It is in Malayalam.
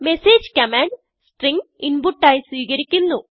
messageകമാൻഡ് സ്ട്രിംഗ് inputആയി സ്വീകരിക്കുന്നു